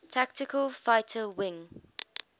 tactical fighter wing